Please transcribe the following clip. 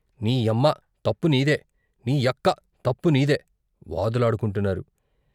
" నీ యమ్మ, తప్పు నీదే ! నీ యక్క ! తప్పు నీదే! " వాదులాడుకొంటున్నారు.